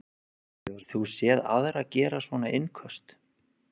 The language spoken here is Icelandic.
Hefur þú séð aðra gera svona innköst?